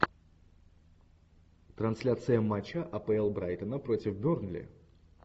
трансляция матча апл брайтона против бернли